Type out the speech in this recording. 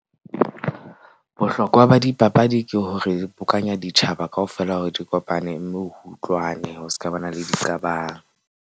Bohlokwa ba dipapadi ke hore bokanya ditjhaba kaofela hore di kopane. Mme o utlwane ho ska ba na le diqabang.